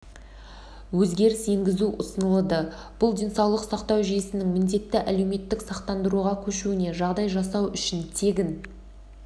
өзгеріс енгізу ұсынылды бұл денсаулық сақтау жүйесінің міндетті әлеуметтік сақтандыруға көшуіне жағдай жасау үшін тегін